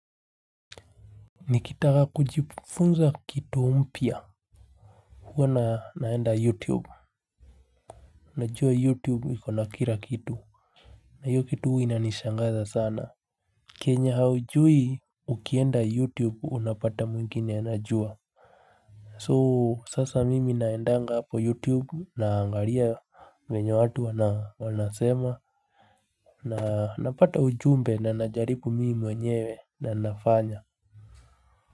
Nikitaka kujifunza kitu mpya. Huwa naenda youtube. Najua youtube iko na kila kitu. Na hiyo kitu hua inanishangaza sana. Kenye haujui ukienda youtube unapata mwingine anajua. So sasa mimi naendanga hapo youtube naangalia vyenye watu wanasema. Na napata ujumbe na najaribu mimi mwenyewe na nafanya.